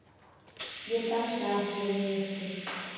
Ég dansa ekki við ykkur.